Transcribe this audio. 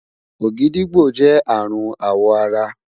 ògìdìgbó jẹ arun awọ ara